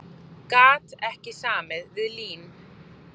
Gat ekki samið við LÍN